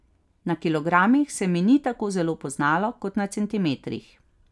Na kilogramih se mi ni tako zelo poznalo kot na centimetrih.